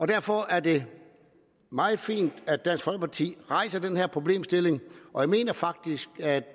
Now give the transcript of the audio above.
derfor er det meget fint at dansk folkeparti rejser den her problemstilling og jeg mener faktisk at